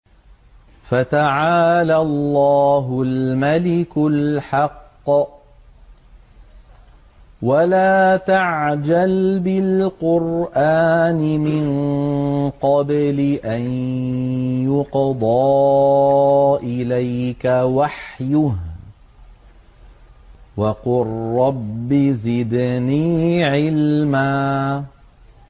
فَتَعَالَى اللَّهُ الْمَلِكُ الْحَقُّ ۗ وَلَا تَعْجَلْ بِالْقُرْآنِ مِن قَبْلِ أَن يُقْضَىٰ إِلَيْكَ وَحْيُهُ ۖ وَقُل رَّبِّ زِدْنِي عِلْمًا